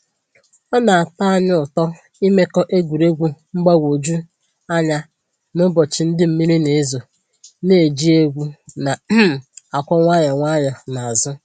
Ọ na-atọ anyị ụtọ ịmekọ egwuregwu mgbagwoju anya n'ụbọchị ndị mmiri na ezo, na-eji egwu na um akụ nwayọ nwayọ na azụ